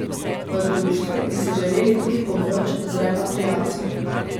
V društvu bi si želeli tudi pomoč z repatriacijo.